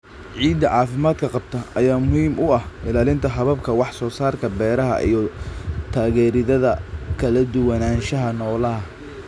Ciidda caafimaadka qabta ayaa muhiim u ah ilaalinta hababka wax soo saarka beeraha iyo taageeridda kala duwanaanshaha noolaha.